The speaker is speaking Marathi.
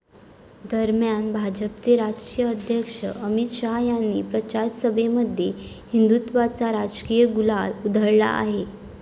दरम्यान, भाजपचे राष्ट्रीय अध्यक्ष अमित शहा यांनी प्रचारसभेमध्ये हिंदुत्त्वाचा राजकीय गुलाल उधळला आहे.